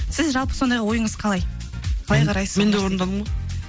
сіз жалпы сондай ойыңыз қалай мен де орындадым ғой